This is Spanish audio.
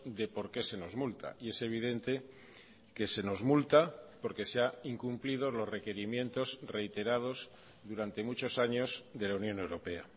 de por qué se nos multa y es evidente que se nos multa porque se ha incumplido los requerimientos reiterados durante muchos años de la unión europea